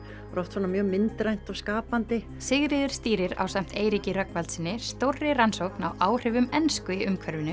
er oft svona mjög myndrænt og skapandi Sigríður stýrir ásamt Eiríki Rögnvaldssyni stórri rannsókn á áhrifum ensku